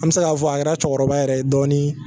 An bɛ se k'a fɔ a kɛra cɛkɔrɔba yɛrɛ ye dɔɔni